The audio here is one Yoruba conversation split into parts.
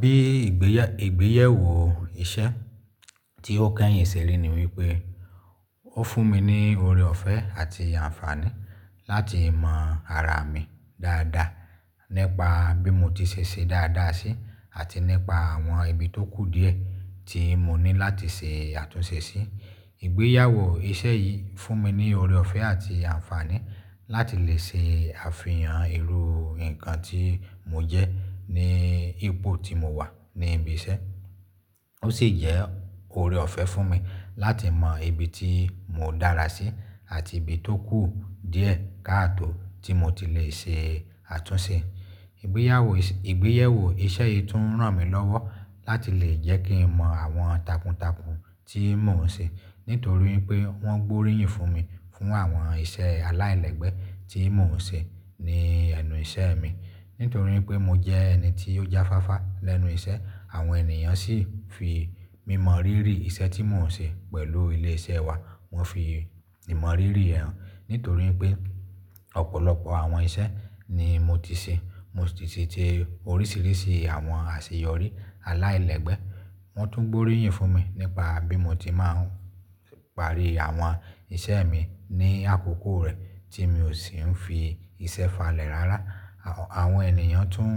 Bí ìgbéyewó iṣẹ́ tí ó kẹ́yìn ṣẹ ri ní wípé ó fún mi ní oọrẹ ọ̀fẹ́ àti ànfàní láti mọ ara mi dáadáa nípa bí mo ti ṣe é ṣe dáadáa sí àti nípa àwọn ibi tó kù díẹ̀ tí mo ní láti ṣe àtúnṣe sí. Ìgbéyàwó iṣẹ́ yìí fún mi ní ọrẹ ọ̀fẹ́ àti ànfàní láti lè ṣe àfihàn irú nǹkan tí mo jẹ́ ní ipò tí mo wà ní ibi iṣẹ́. Ó sì jẹ́ ọorẹ ọ̀fẹ́ fún mi láti mọ ibi tí mo dára sí àti ibi tó kù díẹ̀ káàtò tí mo ti lè ṣe àtúnṣe. Igeyewo yi Ìgbéyewó iṣẹ́ yìí tún ràn mí lọ́wọ́ láti lè jẹ́ kí n mọ àwọn takuntakun tí mò ń ṣe nítorí pé wọ́n gbóríyìn fún mi fún àwọn iṣẹ́ aláìlẹ́gbẹ́ tí mò ń ṣe ní ẹnu iṣẹ́ mi. Nítorí pé mo jẹ́ ẹni tí ó jáfáfá lẹ́nu iṣẹ́, àwọn ènìyàn sì fi mí mọ̀ rírì iṣẹ́ tí mò ń ṣe pẹ̀lú ilé iṣẹ́ wa. Wọ́ fi ìmọ̀ rírì ẹ́ hàn nítorí pé ọ̀pọ̀lọpọ̀ àwọn iṣẹ́ ni mo ti ṣe. Mo sì ti ṣe oríṣiríṣi àwọn àṣeyọrí aláìlẹ́gbẹ́. Wọ́n tún gbóríyìn fún mi nípa bí mo ti máa ń parí àwọn iṣẹ́ mi ní àkókò rẹ̀ tí mi ò sì ń fi iṣẹ́ falẹ̀ rárá. Àwọn ènìyàn tún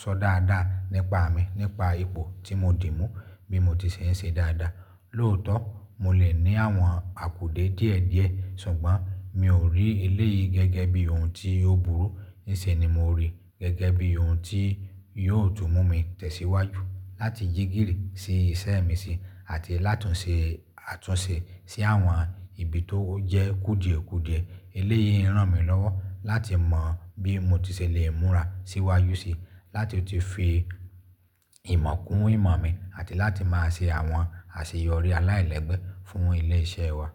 sọ dáadáa nípa mi nípa ipò tí mo dì mú bí mo ti ṣe ń ṣe dáadáa. Lóòótọ́, mo lè ní àwọn àkùdẹ̀ díẹ̀ díẹ̀ ṣùgbọ́n mi ò rí eléyìí gẹ́gẹ́ bí ohun tí yóò burú. Níṣe ni mo rí i gẹ́gẹ́ bí ohun tí yóò tún mú mi tẹ̀síwájú láti jígirii sí iṣẹ́ mi sí àti láti ṣe àtúnṣe sí àwọn ibi tó jẹ́ kùdìẹ̀kùdìẹ̀. Eléyìí ràn mí lọ́wọ́ láti mọ bí mo ti ṣe lè múra síwáju si, láti tun fi ìmọ̀ kún ìmọ̀ mi àti láti máa ṣe àwọn àṣeyọrí aláìlẹ́gbẹ́ fún ilé iṣẹ́ wa.